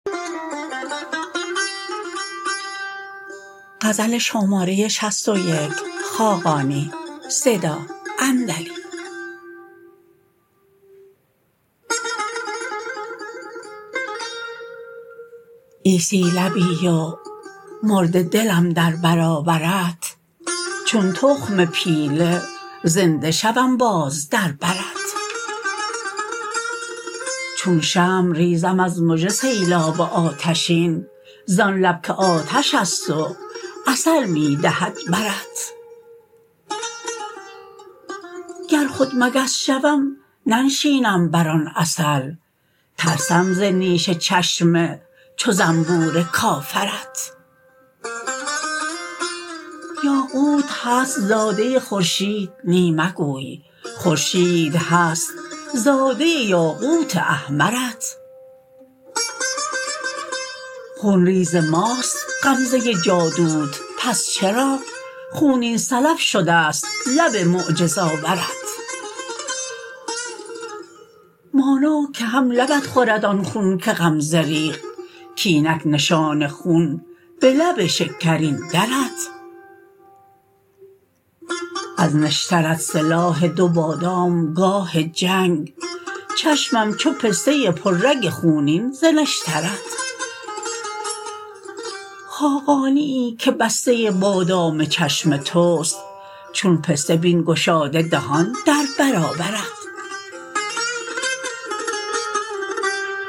عیسی لبی و مرده دلم در برابرت چون تخم پیله زنده شوم باز در برت چون شمع ریزم از مژه سیلاب آتشین زان لب که آتش است و عسل می دهد برت گر خود مگس شوم ننشینم بر آن عسل ترسم ز نیش چشم چو زنبور کافرت یاقوت هست زاده خورشید نی مگوی خورشید هست زاده یاقوت احمرت خونریز ماست غمزه جادوت پس چرا خونین سلب شده است لب معجزآورت مانا که هم لبت خورد آن خون که غمزه ریخت کاینک نشان خون به لب شکرین درت از نشترت سلاح دو بادام گاه جنگ چشمم چو پسته پر رگ خونین ز نشترت خاقانیی که بسته بادام چشم توست چون پسته بین گشاده دهان در برابرت